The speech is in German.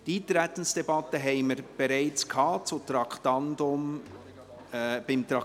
Die Eintretensdebatte haben wir bereits unter dem Traktandum 24 geführt.